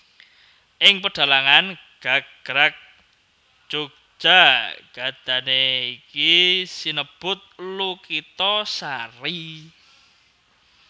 Ing pedhalangan gagrag Jogja gadané iki sinebut Lukitasari